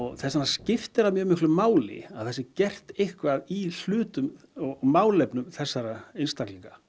þess vegna skiptir það mjög miklu máli að það sé gert eitthvað í málefnum þessara einstaklinga